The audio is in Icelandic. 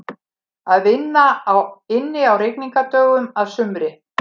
Að vinna inni á rigningardögum að sumri.